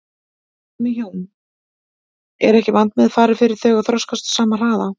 Hvað með hjón, er ekki vandmeðfarið fyrir þau að þroskast á sama hraða?